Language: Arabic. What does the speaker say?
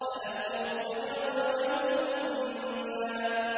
أَلَكُمُ الذَّكَرُ وَلَهُ الْأُنثَىٰ